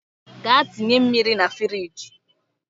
Gaa tinye mmiri na firigi